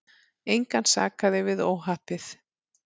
Engan sakaði við óhappið.